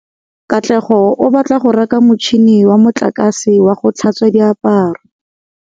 Katlego o batla go reka motšhine wa motlakase wa go tlhatswa diaparo.